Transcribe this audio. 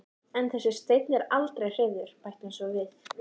En þessi steinn er aldrei hreyfður, bætir hún svo við.